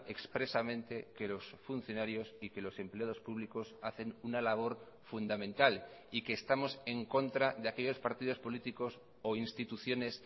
expresamente que los funcionarios y que los empleados públicos hacen una labor fundamental y que estamos en contra de aquellos partidos políticos o instituciones